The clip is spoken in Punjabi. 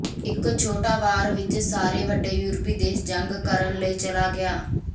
ਇੱਕ ਛੋਟਾ ਵਾਰ ਵਿੱਚ ਸਾਰੇ ਵੱਡੇ ਯੂਰਪੀ ਦੇਸ਼ ਜੰਗ ਕਰਨ ਲਈ ਚਲਾ ਗਿਆ